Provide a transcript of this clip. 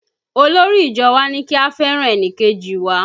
Olórí ìjọ wa ní kí a fẹ́ràn ẹnìkejì wa